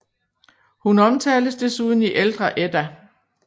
Hun omtales desuden i Ældre Edda